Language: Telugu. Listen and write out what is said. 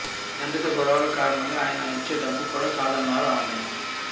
తండ్రితో గొడవల కారణంగా ఆయన ఇచ్చే డబ్బు కూడా కాదన్నారు ఆమె